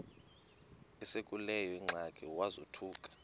esekuleyo ingxaki wazothuka